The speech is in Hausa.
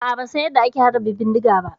A'a ban San yanda ake harba bindiga ba.